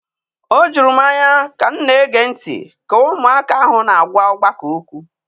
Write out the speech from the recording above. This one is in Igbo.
O juru m anya ka m na-ege ntị ka ụmụaka ahụ na-agwa ọgbakọ okwu.